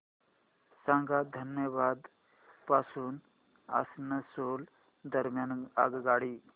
सांगा धनबाद पासून आसनसोल दरम्यान आगगाडी